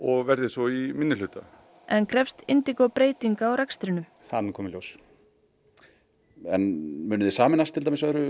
og verði svo í minnihluta en krefst breytinga á rekstrinum það mun koma í ljós munið þið sameinast öðru